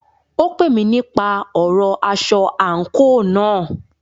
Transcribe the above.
Ó pè mí nípa ọ̀rọ aṣọ àńkò náà.